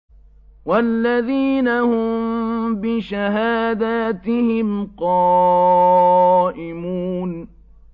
وَالَّذِينَ هُم بِشَهَادَاتِهِمْ قَائِمُونَ